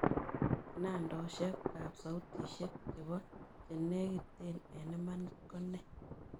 Kinaanteosiekap sautisiek chepochenegiten eng' imaniit ko nee